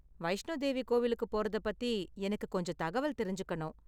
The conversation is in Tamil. வைஷ்ணோ தேவி கோவிலுக்கு போறத பத்தி எனக்கு கொஞ்சம் தகவல் தெரிஞ்சுக்கணும்.